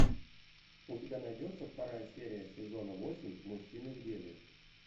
у тебя найдется вторая серия сезона восемь мужчины в деле